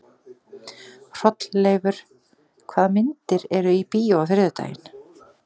Hrolleifur, hvaða myndir eru í bíó á þriðjudaginn?